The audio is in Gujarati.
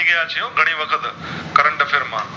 મૂકિયાં છે ઘણી વખત Current Affair માં